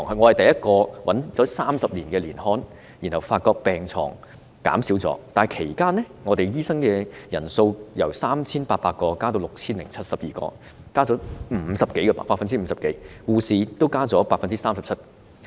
我找到30年前的年刊，發覺病床數目真的減少了，但其間醫生人數由 3,800 名增至 6,072 名，增幅超過 50%， 護士也增加了 37%。